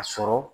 A sɔrɔ